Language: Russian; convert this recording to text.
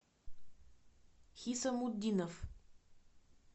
хисамутдинов